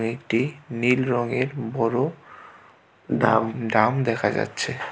এটি নীল রঙের বড় ধাম দাম দেখা যাচ্ছে।